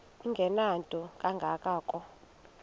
engenanto kanga ko